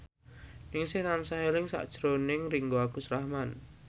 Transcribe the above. Ningsih tansah eling sakjroning Ringgo Agus Rahman